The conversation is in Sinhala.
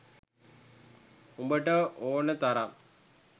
උඹට ඕන තරම්